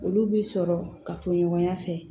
Olu bi sɔrɔ ka fɔ ɲɔgɔnya fɛ